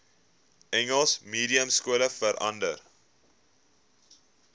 engels mediumskole verander